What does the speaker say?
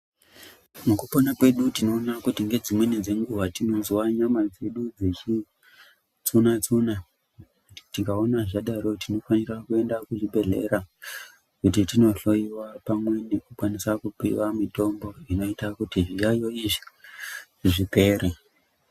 Mukupona kwedu tinoona kuti dzimwe dzenguva tinozwa nyama dzedu dzechitsuna tsuna tikaona zvadaro tinofarirwa kuenda kuzvibhedhleya kuti tinohloyiwa pamwe nekukwanisa kupiwa mitombo inoita kuti zviyaiyo izvi zvipere.